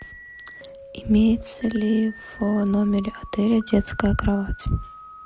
имеется ли в номере отеля детская кровать